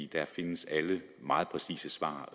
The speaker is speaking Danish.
der findes alle de meget præcise svar